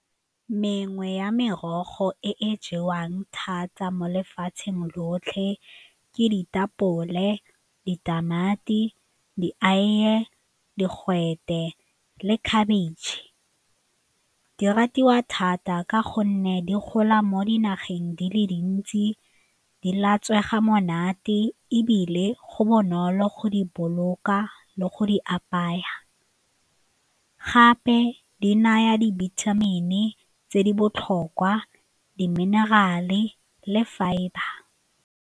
Mengwe ya merogo e e jewang thata mo lefatsheng lotlhe ke ditapole, ditamati, dieiye, digwete le khabitšhe. Di ratiwa thata ka gonne di gola mo dinageng di le dintsi, di latswega monate ebile go bonolo go di boloka le go di apaya, gape di naya dibithamini tse di botlhokwa di-mineral-e le fibre.